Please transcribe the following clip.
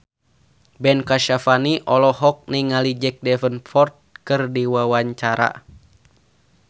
Ben Kasyafani olohok ningali Jack Davenport keur diwawancara